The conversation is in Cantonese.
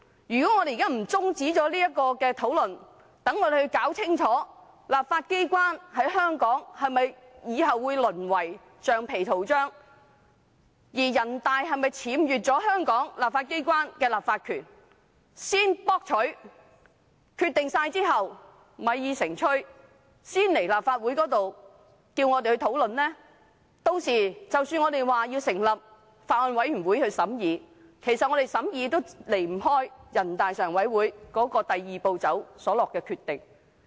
如果現在不中止討論，讓我們先弄清楚香港立法機關是否從此會淪為橡皮圖章；而人大是否僭越了香港立法機關的立法權，作了決定，米已成炊，才交回立法會討論呢；屆時即使我們提出成立法案委員會審議，"一地兩檢"安排也離不開人大常委會"第二步"所作的決定。